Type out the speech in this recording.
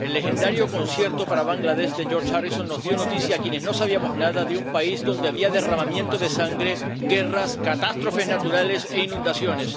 El legendario concierto para Bangladés de George Harrison nos dio noticias a quienes no sabíamos nada de un país donde había derramamiento de sangre, guerras, catástrofes naturales e inundaciones.